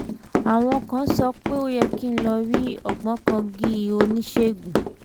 àwọn kan sọ pé ó yẹ kí n lọ rí ògbóǹkangí oníṣègùn